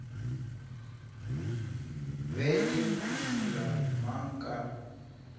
be le phušula mang ka